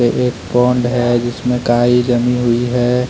यह एक पॉण्ड है जिसमें काई जमी हुई है।